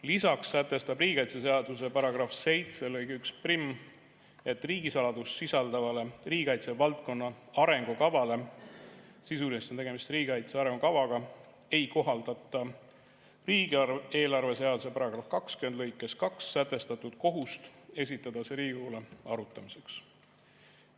Lisaks sätestab riigikaitseseaduse § 7 lõige 11, et riigisaladust sisaldavale riigikaitsevaldkonna arengukavale – sisuliselt on tegemist riigikaitse arengukavaga – ei kohaldata riigieelarve seaduse § 20 lõikes 2 sätestatud kohustust esitada see Riigikogule arutamiseks.